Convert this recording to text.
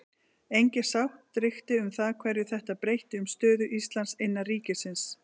Engin sátt ríkti um það hverju þetta breytti um stöðu Íslands innan ríkisins.